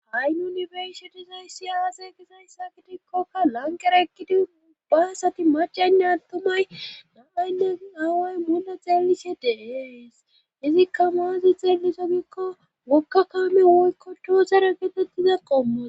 Ha7i yunibersitizay siyawase gizayssa gidikkokka langeraekkidi mubba asati macaynne adtumay namaynne naaway munle xeelise deees izikka maazi xeeliso giikko mokka kaamen woykko doosere geetettiza qomman.